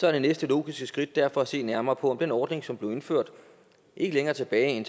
er det næste logiske skridt derfor at se nærmere på om den ordning som blev indført ikke længere tilbage end